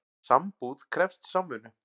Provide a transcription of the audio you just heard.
Sambúð krefst samvinnu.